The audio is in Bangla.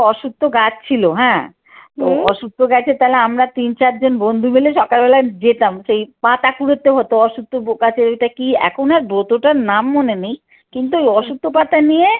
বড় অশ্বত্থ গাছ ছিল হ্যাঁ অশ্বত্থ গেছে তাহলে আমরা তিন চার জন বন্ধু মিলে সকালবেলায় যেতাম সেই পাতা কুড়োতে হত অশ্বত্থ গাছ ওটা কি এখন আর ব্রতটার নাম মনে নেই কিন্তু ওই অশ্বত্থ পাতা নিয়ে